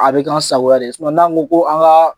A bɛ k'aw sagoya de ye n'an ko ko an ka